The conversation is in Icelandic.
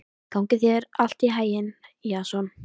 Gangi þér allt í haginn, Jason.